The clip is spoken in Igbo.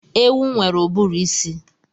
Ewu nwere uburuisi